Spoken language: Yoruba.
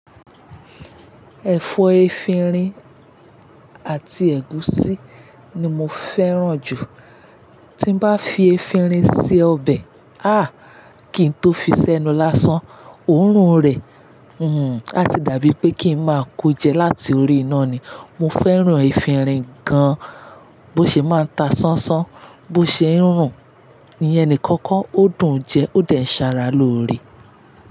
Ẹ̀fọ́ efinrin àti ẹ̀gúsí ni mo fẹ́ràn jù. Tí n bá fi efinrin sí ọbẹ̀, ah! Kí n tó fi sẹ́nu lásán, òórùn rẹ̀, hm, a ti dàbí pé kí n máa kó jẹ láti orí iná ni. Mo fẹ́ràn efinrin gan, bó ṣe máa ń ta sánsán, bó ṣe ń rùn, iye nìkan ó dùn jẹ, ó dẹ̀ ṣàrà lóore.